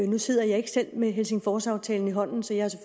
nu sidder jeg ikke selv med helsingforsaftalen i hånden så jeg